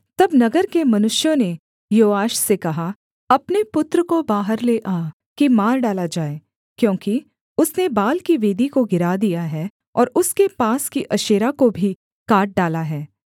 तब नगर के मनुष्यों ने योआश से कहा अपने पुत्र को बाहर ले आ कि मार डाला जाए क्योंकि उसने बाल की वेदी को गिरा दिया है और उसके पास की अशेरा को भी काट डाला है